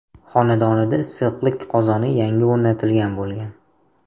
xonadonida issiqlik qozoni yangi o‘rnatilgan bo‘lgan.